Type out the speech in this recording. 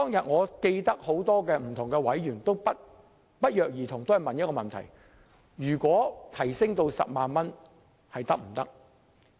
我記得當日很多委員均不約而同詢問把司法管轄權限提高至10萬元是否可行。